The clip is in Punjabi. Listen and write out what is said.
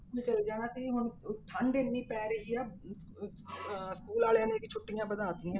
ਚਲੇ ਜਾਣਾ ਸੀ ਹੁਣ ਉਹ ਠੰਢ ਇੰਨੀ ਪੈ ਰਹੀ ਆ ਅਹ ਅਹ ਅਹ school ਵਾਲਿਆਂ ਨੇ ਵੀ ਛੁੱਟੀਆਂ ਵਧਾ ਦਿੱਤੀਆਂ।